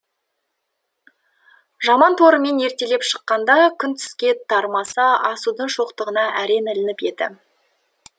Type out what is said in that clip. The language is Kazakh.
жаман торымен ертелеп шыққанда күн түске тармаса асудың шоқтығына әрең ілініп еді